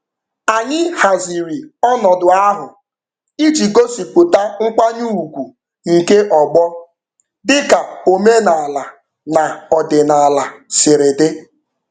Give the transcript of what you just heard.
Anyị haziri ọnọdụ ahụ iji gosipụta nkwanye ugwu nke ọgbọ dị ka omenaala na ọdịnaala sịrị dị.